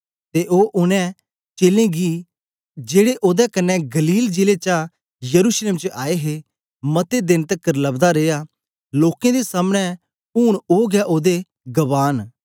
ते ओ उनै चेलें गी जेड़े ओदे कन्ने गलील जिले चा यरूशलेम च आए हे मते देन तकर लबदा रिया लोकें दे सामनें ऊन ओ गै ओदे गवाह न